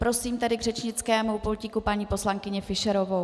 Prosím tedy k řečnickému pultíku paní poslankyni Fischerovou.